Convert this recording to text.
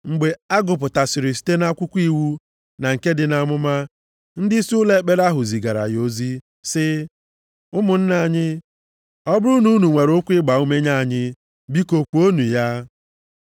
Mgbe a gụpụtasịrị site nʼakwụkwọ iwu na nke ndị amụma, ndịisi ụlọ ekpere ahụ zigara ya ozi, sị, “Ụmụnna anyị, ọ bụrụ na unu nwere okwu ịgbaume nye anyị, biko kwuonụ ya.”